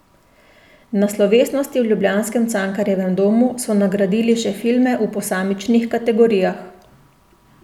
Na slovesnosti v ljubljanskem Cankarjevem domu so nagradili še filme v posamičnih kategorijah.